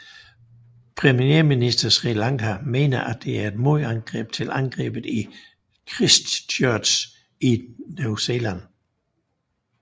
Premierministeren på Sri Lanka mener at det er et modangreb til angrebet i Christchurch i New Zealand